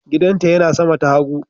Gidanta yana sama ta hagu.